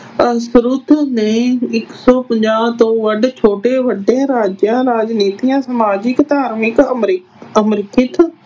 ਨੇ ਇੱਕ ਸੋ ਪੰਜਾਹ ਤੋਂ ਵੱਧ ਛੋਟੇ ਵੱਡੇ ਰਾਜਾਂ, ਰਾਜਨੀਤਿਆਂ, ਸਮਾਜਿਕ, ਧਾਰਮਿਕ, ਆਰਥਿਕ